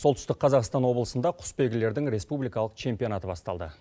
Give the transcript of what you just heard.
солтүстік қазақстан облысында құсбелгілердің республикалық чемпионаты басталды